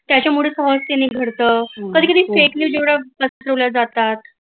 त्यांच्यामुळे फाॅल्स सिघडत कधी कधी fake news एवढ्या पसरवल जातात